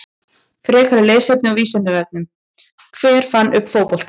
Frekara lesefni á Vísindavefnum: Hver fann upp fótboltann?